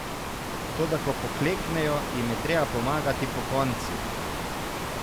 Toda ko pokleknejo, jim je treba pomagati pokonci.